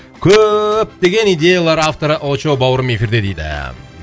көптеген идеялар авторы очоу бауырым эфирде дейді